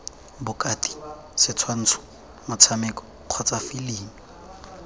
botaki setshwantsho motshameko kgotsa filimi